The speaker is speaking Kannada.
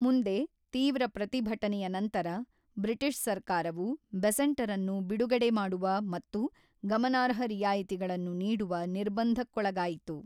ಮುಂದೆ, ತೀವ್ರ ಪ್ರತಿಭಟನೆಯ ನಂತರ, ಬ್ರಿಟಿಷ್ ಸರ್ಕಾರವು ಬೆಸೆಂಟರನ್ನು ಬಿಡುಗಡೆ ಮಾಡುವ ಮತ್ತು ಗಮನಾರ್ಹ ರಿಯಾಯಿತಿಗಳನ್ನು ನೀಡುವ ನಿರ್ಬಂಧಕ್ಕೊಳಗಾಯಿತು.